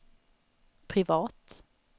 privat